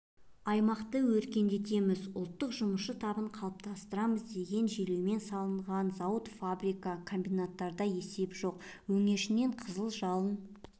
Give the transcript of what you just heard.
аймақты өркендетеміз ұлттық жұмысшы табын қалыптастырамыз деген желеумен салынған зауыт-фабрика комбинаттарда есеп жоқ өңешнен қызыл жалын